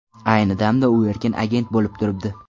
Ayni damda u erkin agent bo‘lib turibdi.